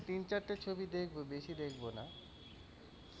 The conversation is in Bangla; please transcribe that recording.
তিন চারটে ছবি দেখব বেশি দেখবো না।